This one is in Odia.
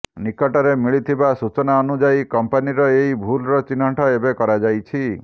ନିକଟରେ ମିଳିଥିବା ସୂଚନା ଅନୁଯାୟି କମ୍ପାନୀର ଏହି ଭୁଲର ଚିହ୍ନଟ ଏବେ କରାଯାଇଛି